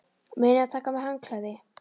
Munið að taka með handklæði!